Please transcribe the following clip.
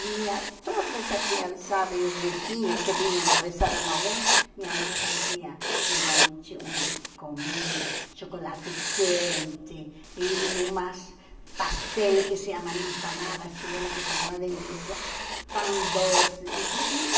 vinha toda essa criançada e os vizinhos que vinham a rezar a novena, minha mãe fazia de noite uma comida, chocolate quente e e umas pastéis que se chamam empanadas chilenas, que são uma delícia, pão doce e tu e